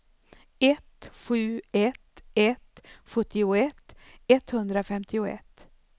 ett sju ett ett sjuttioett etthundrafemtioett